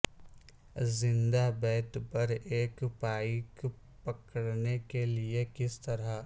زندہ بیت پر ایک پائیک پکڑنے کے لئے کس طرح